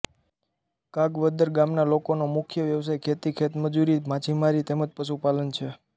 કાગવદર ગામના લોકોનો મુખ્ય વ્યવસાય ખેતી ખેતમજૂરી માછીમારી તેમ જ પશુપાલન છે